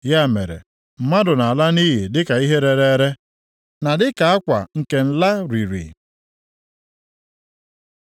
“Ya mere, mmadụ nʼala nʼiyi dịka ihe rere ere, na dịka akwa nke nla riri.